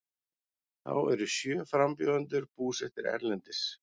Þá eru sjö frambjóðendur búsettir erlendis